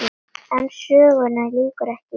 En sögunni lýkur ekki hér.